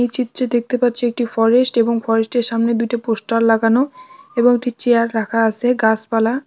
এই চিত্রে দেখতে পাচ্ছি একটি ফরেস্ট | এবং ফরেস্টের সামনে দুইটি পোস্টার লাগানো | এবং একটি চেয়ার রাখা আছে | গাছপালা--